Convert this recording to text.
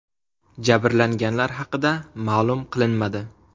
Jabrlanganlar haqida ma’lum qilinmadi.